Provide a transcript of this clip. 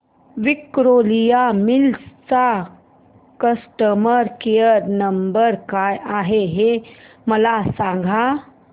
Victoria Mills चा customer care number काय आहे हे मला सांगा